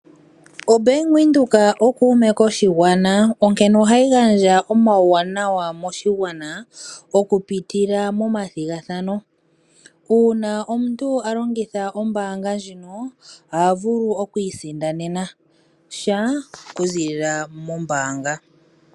OBank Windhoek okuume koshigwana onkene ohayi gandja omauwanawa moshigwana okupitila momathigathano. Uuna omuntu a longitha ombaanga ndjino oha vulu okwiisindanena sha okuziilila mombaanga.